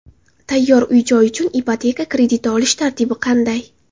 Tayyor uy-joy uchun ipoteka krediti olish tartibi qanday?